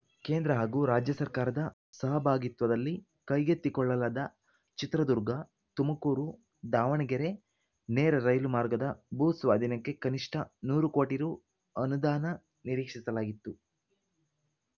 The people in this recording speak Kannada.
ಕೇಂದ್ರ ಹಾಗೂ ರಾಜ್ಯ ಸರ್ಕಾರದ ಸಹಭಾಗಿತ್ವದಲ್ಲಿ ಕೈಗೆತ್ತಿಕೊಳ್ಳಲಾದ ಚಿತ್ರದುರ್ಗತುಮಕೂರುದಾವಣಗೆರೆ ನೇರ ರೈಲು ಮಾರ್ಗದ ಭೂ ಸ್ವಾಧೀನಕ್ಕೆ ಕನಿಷ್ಠ ನೂರು ಕೋಟಿ ರು ಅನುದಾನ ನಿರೀಕ್ಷಿಸಲಾಗಿತ್ತು